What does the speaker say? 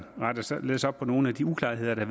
retter således op på nogle af de uklarheder der